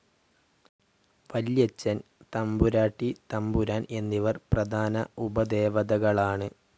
വല്യച്ചൻ, തമ്പുരാട്ടി തമ്പുരാൻ എന്നിവർ പ്രധാന ഉപദേവതകളാണ്.